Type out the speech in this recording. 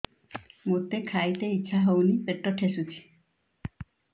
ମୋତେ ଖାଇତେ ଇଚ୍ଛା ହଉନି ପେଟ ଠେସୁଛି